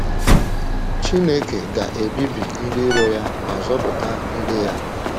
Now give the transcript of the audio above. Chineke ga - ebibi ndị iro ya ma zọpụta ndị ya.